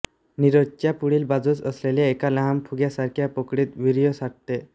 निरोधच्या पुढील बाजूस असलेल्या एका लहान फुग्यासारख्या पोकळीत वीर्य साठते